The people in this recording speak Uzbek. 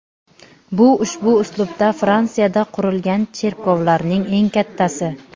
Bu ushbu uslubda Fransiyada qurilgan cherkovlarning eng kattasi.